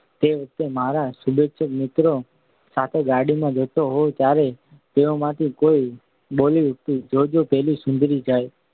તે વખતે મારા શુભેચ્છક મિત્રો સાથે ગાડીમાં જતો હોઉં ત્યારે તેઓમાંથી કોઈ બોલી ઊઠતું જો જો પેલી સુંદરી જાય